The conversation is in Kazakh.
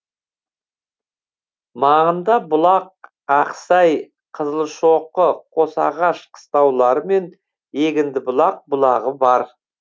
маңында бұлақ ақсай қызылшоқы қосағаш қыстаулары мен егіндібұлақ бұлағы бар